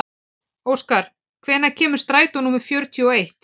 Óskar, hvenær kemur strætó númer fjörutíu og eitt?